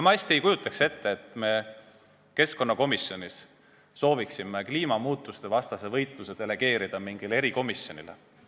Ma ei kujutaks hästi ette, et me keskkonnakomisjonis sooviksime kliimamuutuste vastase võitluse delegeerida mingile erikomisjonile.